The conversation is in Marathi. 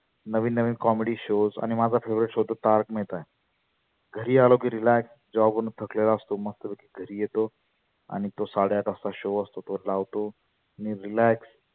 नविन नविन comedy shows आणि माझा favorite show तर तारक मेहता आहे. घरी आलो की relax job वरुण थकलेलो असतो. मस्त पैकी घरी येतो आणि तो साडे आठ वाजता show असतो तो लावतो नी relax